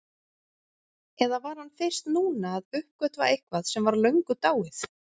Eða var hann fyrst núna að uppgötva eitthvað sem var löngu dáið?